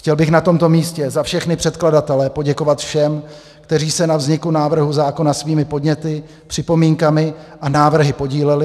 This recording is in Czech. Chtěl bych na tomto místě za všechny předkladatele poděkovat všem, kteří se na vzniku návrhu zákona svými podněty, připomínkami a návrhy podíleli.